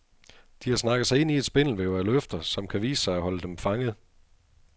De har snakket sig ind i et spindelvæv af løfter, som kan vise sig at holde dem fanget.